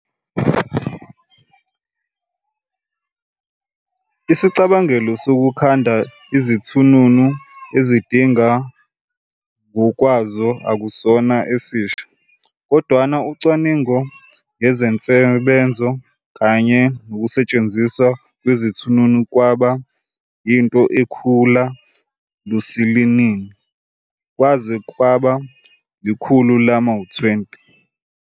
Isicabangelo sokukhanda izithununu ezigidinga ngokwazo akusona esisha, kodwana ucwaningo ngensebenzo kanye nokusetshenziswa kwezithununu kwaba yinto ekhula lusilili kwaze kwaba ikhulu lama-20.